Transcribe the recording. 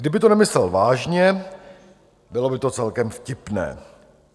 Kdyby to nemyslel vážně, bylo by to celkem vtipné.